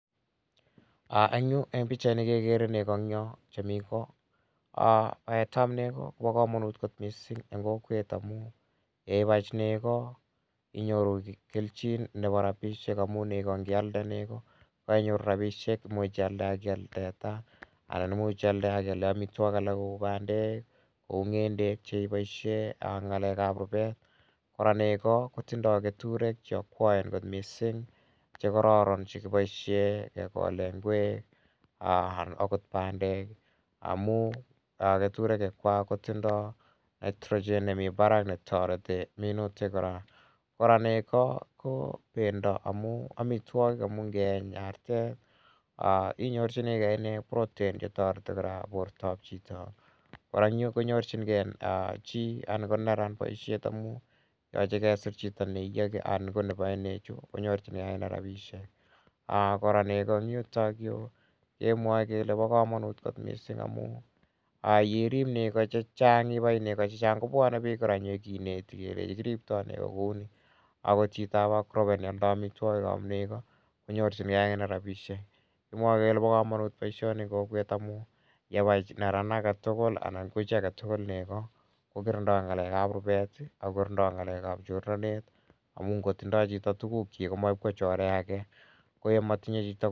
Eng' yu, eng' pichaini kekere nego eng' yo chemi ko. Paetap nego ko pa kamanit missing' eng' kokwet amu yeipai chito nego inyoru kelchin nepo rapishek amu nego ngialde nego ko kainyoru rapishek. Imuch ialde ak ial teta anan imuch ialde ak iale amitwogik alak kou pandek, kou ng'endek che ipoishe eng' ng'alek ap rupet. Kora nego ko tindai keturek che akwaen kot missing' che kararan che kipoishe kekole ngwek anan akot pandek amu keturekwak ko tindai Nitrogen nemi parak ne tareti minutik kora. Kora ko nego ko pendo amu amitwogik amu ngeeny inyorchingei inye protein che tareti kora portap chito. Kora eng' yu ko nyorchingei chi anan ko neran poishet amu yache kesir chito ne iyaki anan ko nepae nechu ko nyorchingei ak ine rapishek. Kora nego eng' yutayu kemwae kele pa kamanut kot missing' amu ye irip nego che chang', ipai nego che chang' , kopwane piik kora nyi kineti ole kiriptoi kou ni. Akot chitap agrovet ne aldai amitwogikap nego ko nyorchingei akine rapishek. Kimwae kele pa kamanut poishoni eng' kokwet amu yepai neran age tugul nego anan ko chi age tugul ko kirindai rupet ak kokirindai ng'alek ap chornatet amu ngo tindai chito tugukchik ko makoi ip kochorei age.